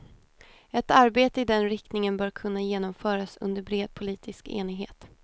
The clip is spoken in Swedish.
Ett arbete i den riktningen bör kunna genomföras under bred politisk enighet.